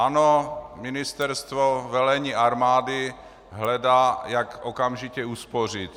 Ano, ministerstvo, velení armády hledá, jak okamžitě uspořit.